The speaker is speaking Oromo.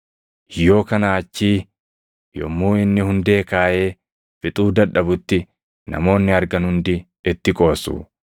Yoo kanaa achii yommuu inni hundee kaaʼee fixuu dadhabutti, namoonni argan hundi itti qoosu.